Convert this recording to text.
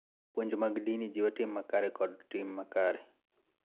Puonj mag din jiwo tim makare kod tim makare.